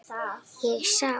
Ég sá